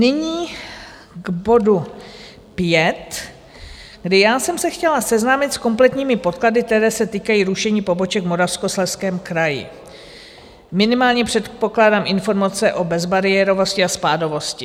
Nyní k bodu pět, kdy já jsem se chtěla seznámit s kompletními podklady, které se týkají rušení poboček v Moravskoslezském kraji, minimálně předpokládám informace o bezbariérovosti a spádovosti.